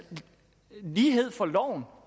lighed for loven